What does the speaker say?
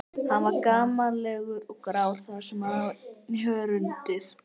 Hann var gamallegur og grár þar sem sá í hörundið.